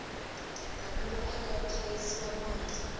damu ro akiwa ku hlayisa mati